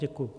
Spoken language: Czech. Děkuji.